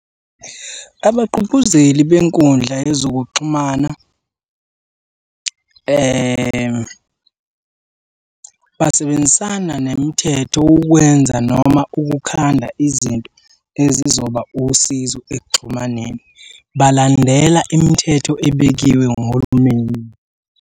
Abagqugquzeli benkundla yezokuxhumana basebenzisana nemithetho ukwenza noma ukukhanda izinto ezizoba usizo ekuxhumaneni, balandele imithetho ebekiwe nguhulumeni.